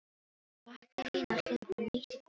Og ekki reyna að hlaupa neitt í burtu frá mér.